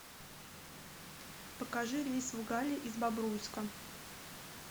покажи рейс в галле из бобруйска